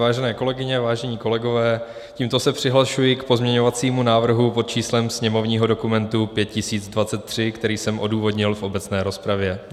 Vážené kolegyně, vážení kolegové, tímto se přihlašuji k pozměňovacímu návrhu pod číslem sněmovního dokumentu 5023, který jsem odůvodnil v obecné rozpravě.